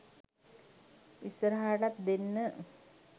ඉස්සරහටත් ‍දෙන්න